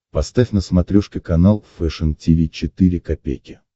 поставь на смотрешке канал фэшн ти ви четыре ка